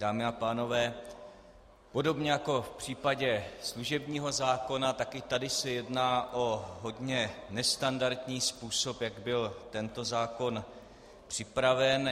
Dámy a pánové, podobně jako v případě služebního zákona, tak i tady se jedná o hodně nestandardní způsob, jak byl tento zákon připraven.